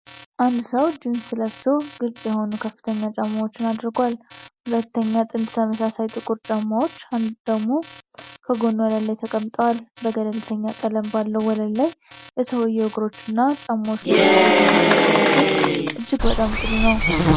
አንድ ሰው ጂንስ ለብሶ ግልጽ የሆኑ ከፍተኛ ጫማዎች አድርጓል፤ ሁለተኛ ጥንድ ተመሳሳይ ጥቁር ጫማዎች ደግሞ ከጎኑ ወለል ላይ ተቀምጠዋል። በገለልተኛ ቀለም ባለው ወለል ላይ የሰውዬው እግሮችና ጫማዎች ላይ ትኩረት የሚያደርገው ምስል እጅግ በጣም ጥሩ ነው።